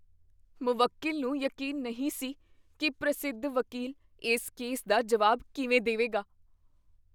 ਮੁਵੱਕੀਲ ਨੂੰ ਯਕੀਨ ਨਹੀਂ ਸੀ ਕੀ ਪ੍ਰਸਿੱਧ ਵਕੀਲ ਇਸ ਕੇਸ ਦਾ ਜਵਾਬ ਕਿਵੇਂ ਦੇਵੇਗਾ।